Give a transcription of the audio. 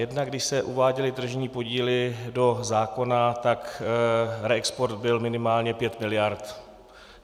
Jednak když se uváděly tržní podíly do zákona, tak reexport byl minimálně 5 miliard.